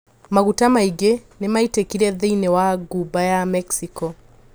Maguta maingi nimaitikire thiinie wa Ghuba ya Mexico.